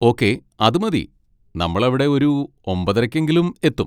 Okay, അത് മതി, നമ്മളവിടെ ഒരു ഒമ്പതരയ്ക്കെങ്കിലും എത്തും.